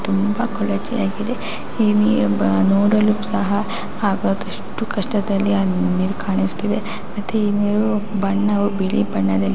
ತುಂಬಾ ಕೊಳಚೆ ಆಗಿದೆ ಈ ನೀರು ನೋಡಲು ಸಹ ಹಾಗಾಗಿ ಅಷ್ಟು ಕಷ್ಟದಲ್ಲಿ ಆ ನೀರು ಕಾಣಿಸ್ತಿದೆ ಮತ್ತು ಈ ನೀರು ಬಣ್ಣವು ಬಿಳಿ ಬಣ್ಣದಲ್ಲಿ --